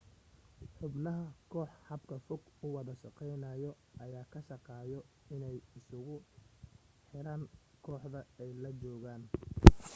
xubnaha kooxda habka fog u wada shaqaynaayo ayaa ka shaqaayo inay isu xiraan kooxda ay la joogaan